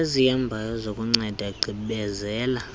ezihambayo zokunceda gqibezela